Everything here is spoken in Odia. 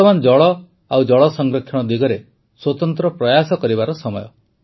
ବର୍ତମାନ ଜଳ ଓ ଜଳସଂରକ୍ଷଣ ଦିଗରେ ସ୍ୱତନ୍ତ୍ର ପ୍ରୟାସ କରିବାର ସମୟ